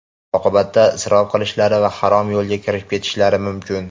Oqibatda isrof qilishlari va harom yo‘lga kirib ketishlari mumkin.